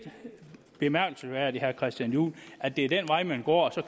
bemærkelsesværdigt herre christian juhl at det er den vej man går og